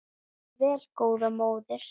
Lifðu vel góða móðir.